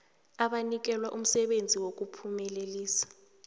abanikelwe umsebenzi wokuphumelelisa